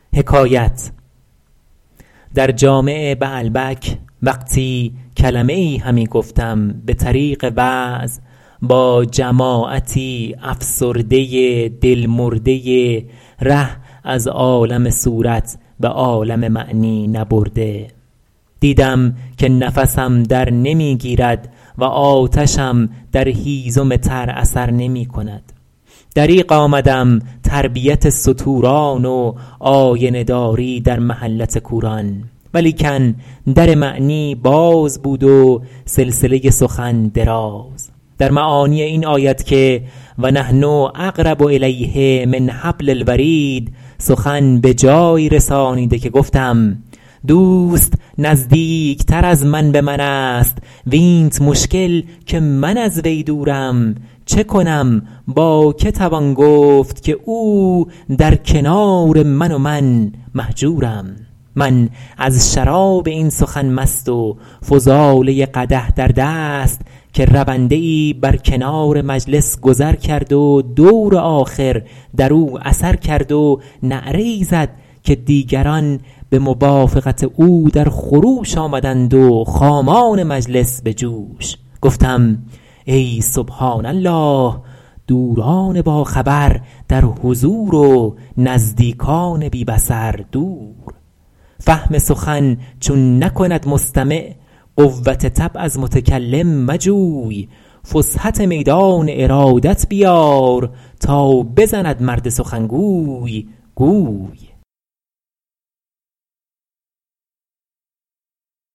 در جامع بعلبک وقتی کلمه ای همی گفتم به طریق وعظ با جماعتی افسرده دل مرده ره از عالم صورت به عالم معنی نبرده دیدم که نفسم در نمی گیرد و آتشم در هیزم تر اثر نمی کند دریغ آمدم تربیت ستوران و آینه داری در محلت کوران ولیکن در معنی باز بود و سلسله سخن دراز در معانی این آیت که و نحن اقرب الیه من حبل الورید سخن به جایی رسانیده که گفتم دوست نزدیکتر از من به من است وینت مشکل که من از وی دورم چه کنم با که توان گفت که او در کنار من و من مهجورم من از شراب این سخن مست و فضاله قدح در دست که رونده ای بر کنار مجلس گذر کرد و دور آخر در او اثر کرد و نعره ای زد که دیگران به موافقت او در خروش آمدند و خامان مجلس به جوش گفتم ای سبحان الله دوران باخبر در حضور و نزدیکان بی بصر دور فهم سخن چون نکند مستمع قوت طبع از متکلم مجوی فسحت میدان ارادت بیار تا بزند مرد سخنگوی گوی